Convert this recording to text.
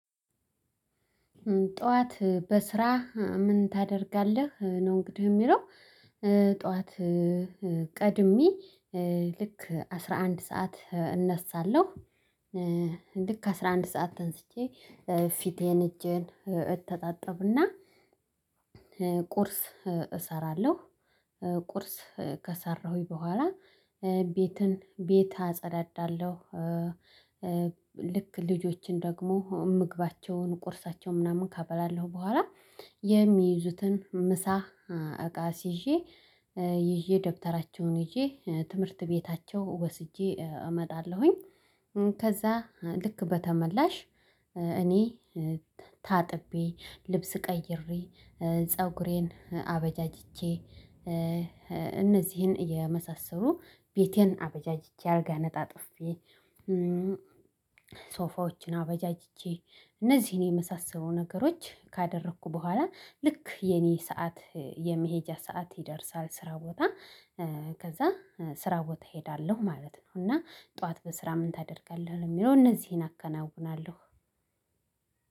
ጠዋት በስራ ምን ታደርጋለህ? ነው እንግዲህ የሚለው ጠዋት ቀድሜ ልክ አስራ አንድ ሰዓት እነሳለሁ ልክ አስራ አንድ ሰዓት ተንስቼ ፊቴን እጄን እተጣጠብና ቁርስ እሰራለሁ ቁርስ ከሰራሁኝ በኋላ ቤትን ቤት አጸዳዳለሁ ልክ ልጆችን ደግሞ ምግባቸውን ቁርሳቸውን ምናምን ካበላለሁ በኋላ የሚይዙትን ምሳ እቃ አስይዤ ይዤ ደብተራቸውን ይዤ ትምህርት ቤታቸው ወስጄ እመጣለሁኝ ከዛ ልክ በተመላሽ እኔ ታጥቤ ልብስ ቀይሬ ፀጉሬን አበጃጅቼ እነዚህን የመሳሰሉ ቤቴን አበጃጅቼ አልጋ አነጣጥፌ ሶፋዎችን አበጃጅቼ እነዚህን የመሳሰሉ ነገሮች ካደረኩ በኋላ ልክ የኔ ሰዓት የመሄጃ ሰዓት ይደርሳል ስራ ቦታ ከዛ ስራ ቦታ እሄዳለሁ ማለት ነው እና ጠዋት በስራ ምን ታደርጋለህ? ለሚለው እነዚህን አከናውናለሁ